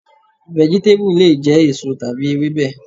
Vẹ̀gítébù lè jẹ́ èso tàbí Ewébẹ̀.